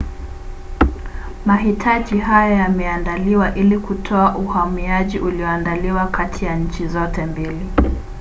mahitaji haya yameandaliwa ili kutoa uhamiaji ulioandaliwa kati ya nchi zote mbili